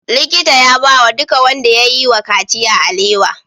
Likita ya bawa duka wanda yayi wa kaciya alewa